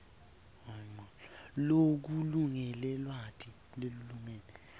lokulingene lwati lolulingene